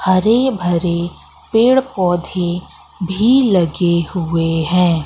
हरे भरे पेड़ पौधे भी लगे हुए है।